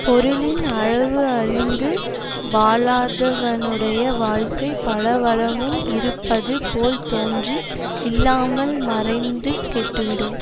பொருளின் அளவு அறிந்து வாழாதவனுடைய வாழ்க்கை பல வளமும் இருப்பது போல் தோன்றி இல்லாமல் மறைந்து கெட்டு விடும்